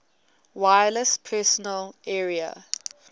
wireless personal area